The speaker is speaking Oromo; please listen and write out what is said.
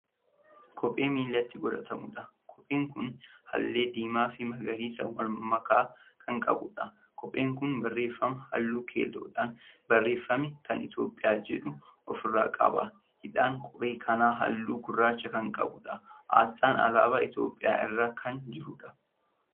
Kophee miilatti godhatamuudha. kopheen Kuni hallee diimaa Fi magariisa walmakaa Kan qabuudha. kopheen Kuni barraaffama halluu keelloodhaan barreeffame Kan itoophiyaa jedhu ofirraa qaba. hidhaan kophee kanaa halluu gurraacha Kan qabuudha. aasxaan alaabaa itoophiyaa irra Kan jiruudha.